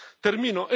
Termino.